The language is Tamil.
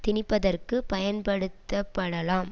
திணிப்பதற்குப் பயன்படுத்தப்படலாம்